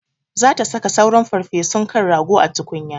Za ta saka sauran farfesun kan rago a tukunya.